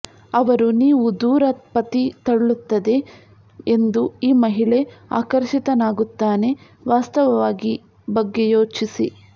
ಅವರು ನೀವು ದೂರ ಪತಿ ತಳ್ಳುತ್ತದೆ ಎಂದು ಈ ಮಹಿಳೆ ಆಕರ್ಷಿತನಾಗುತ್ತಾನೆ ವಾಸ್ತವವಾಗಿ ಬಗ್ಗೆ ಯೋಚಿಸಿ